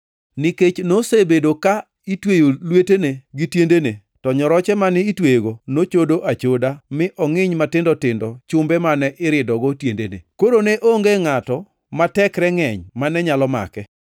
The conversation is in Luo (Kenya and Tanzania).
Nikech nosebedo ka itweyo lwetene gi tiendene to nyoroche mane itweyego nochodo achoda mi ongʼiny matindo tindo chumbe mane iridogo tiendene. Koro ne onge ngʼato ma tekre ngʼeny mane nyalo make.